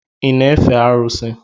Ị na-efe arụsị?